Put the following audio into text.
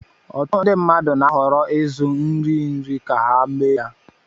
Ọtụtụ ndị mmadụ na-ahọrọ ịzụ nri nri ka ha mee ha.